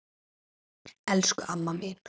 Elsku amma mín!